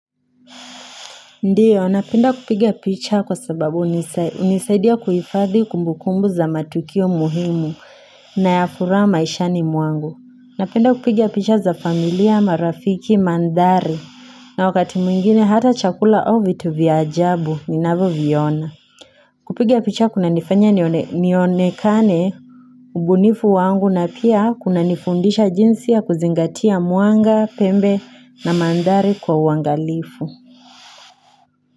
Ndiyo napenda kupiga picha kwa sababu hunisaidia kuhifadhi kumbu kumbu za matukio muhimu na ya furaha maishani mwangu. Napenda kupiga picha za familia, marafiki, manthari na wakati mwingine hata chakula au vitu vya ajabu ninavyoviona. Kupiga picha kunanifanya nionekane ubunifu wangu na pia kunanifundisha jinsi ya kuzingatia mwanga, pembe na manthari kwa uangalifu.